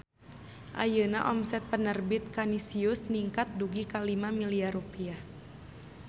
Ayeuna omset Penerbit Kanisius ningkat dugi ka 5 miliar rupiah